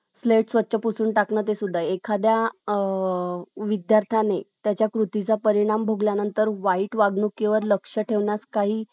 Plate स्वच्छ पुसून टाकंण ते सुद्धा . एखाद्या अ .... विद्यार्थ्याने त्याच्या कृतीचा परिणाम भोगल्यानंतर तवाईट वागणुकीवर लक्ष ठेवण्यास काही